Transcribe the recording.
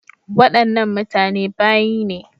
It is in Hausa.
Wadannan mutane bayi ne.